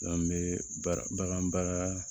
N'an bɛ baara bagan baara